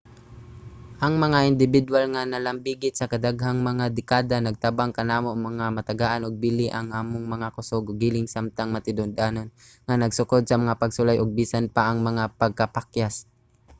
ang mga indibidwal nga nalambigit sa daghang mga dekada nagtabang kanamo nga matagaan og bili ang among mga kusog ug hilig samtang matinud-anon nga nagsukod sa mga pagsulay ug bisan pa ang mga pagkapakyas